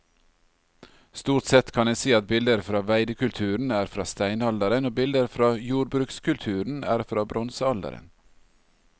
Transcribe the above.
Stort sett kan en si at bilder fra veidekulturen er fra steinalderen og bilder fra jordbrukskulturen er fra bronsealderen.